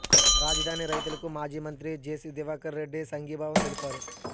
రాజధాని రైతులకు మాజీ మంత్రి జేసీ దివాకర్ రెడ్డి సంఘీభావం తెలిపారు